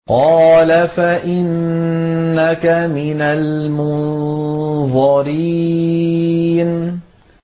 قَالَ فَإِنَّكَ مِنَ الْمُنظَرِينَ